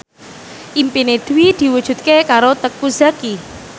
impine Dwi diwujudke karo Teuku Zacky